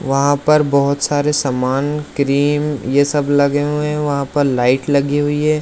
वहां पर बहुत सारे सामान क्रीम ये सब लगे हुए है वहां पर लाइट लगी हुई है।